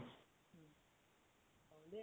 দে